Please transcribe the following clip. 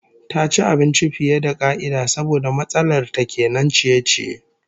Ta ci abinci fiye da ka'ida saboda matsalar ta kenan ciye-ciye